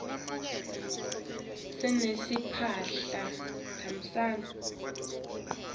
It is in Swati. sinetimphahla tasehlobo